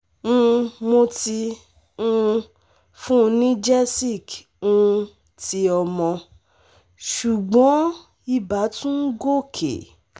um mo Ti um fun ni gesic um ti omo, ṣùgbọ́n ibà tún ń gòkè